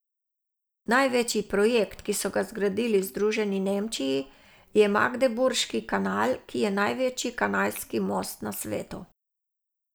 Največji projekt, ki so zgradili v združeni Nemčiji, je Magdeburški kanal, ki je največji kanalski most na svetu.